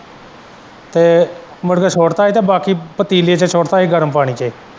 ਤੇ ਮੁੜ ਕੇ ਛੁੱਟ ਤਾ ਹੀ ਬਾਕੀ ਪਤੀਲੇ ਚ ਛੁੱਟਤਾ ਹੀ ਗਰਮ ਪਾਣੀ ਚ।